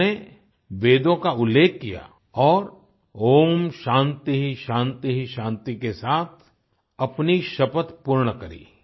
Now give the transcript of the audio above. उन्होंने वेदों का उल्लेख किया और ॐ शांति शांति शांति के साथ अपनी शपथ पूर्ण करी